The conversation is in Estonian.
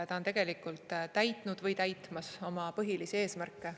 Ta on tegelikult täitnud või täitmas oma põhilisi eesmärke.